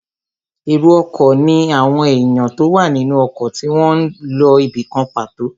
Èrò ọkọ̀ ní àwọn èèyàn tó wà nínú ọkọ̀ tí wọ́n n lọ ibìkan pàtó